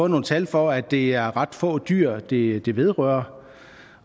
nogle tal for at det er ret få dyr dyr det vedrører